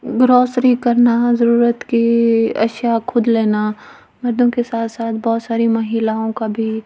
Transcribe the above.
grocery करना जरूरत की खुद लेना मर्दों के साथ-साथ बहुत सारी महिलाओं का भी --